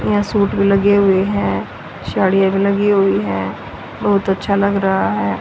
नया सूट भी लगे हुए हैं साड़ियां लगी हुई है बहुत अच्छा लग रहा है।